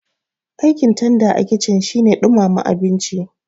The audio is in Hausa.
Aikin tanda a kici shine ɗumama abinci